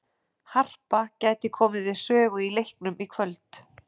Harpa gæti komið við sögu í leiknum í kvöld.